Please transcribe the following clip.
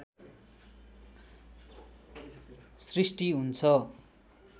सृष्टि हुन्छ